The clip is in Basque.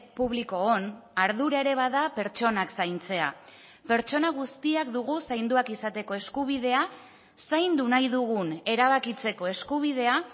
publikoon ardura ere bada pertsonak zaintzea pertsona guztiak dugu zainduak izateko eskubidea zaindu nahi dugun erabakitzeko eskubidea